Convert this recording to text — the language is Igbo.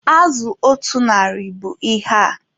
Azụ otu narị bụ ihe a.